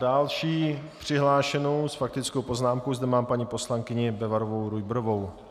Další přihlášenou s faktickou poznámkou zde mám paní poslankyni Bebarovou-Rujbrovou.